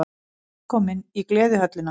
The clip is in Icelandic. Velkomin í Gleðihöllina!